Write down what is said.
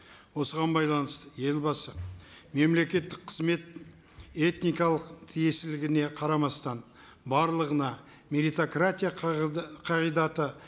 осыған байланысты елбасы мемлекеттік қызмет этникалық тиесілігіне қарамастан барлығына меритократия қағидаты